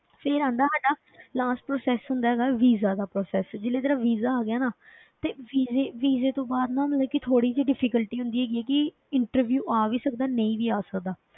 ਫਿਰ ਆਉਂਦਾ ਸਾਡਾ last process ਹੁੰਦਾ ਹੈਗਾ visa ਦਾ process ਜਦੋਂ ਤੇਰਾ visa ਆ ਗਿਆ ਨਾ ਤੇ visa visa ਤੋਂ ਬਾਅਦ ਨਾ ਮਤਲਬ ਕਿ ਥੋੜ੍ਹੀ ਜਿਹੀ difficulty ਹੁੰਦੀ ਹੈਗੀ ਹੈ ਕਿ interview ਆ ਵੀ ਸਕਦਾ, ਨਹੀਂ ਵੀ ਆ ਸਕਦਾ,